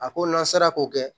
A ko lasara ko kɛ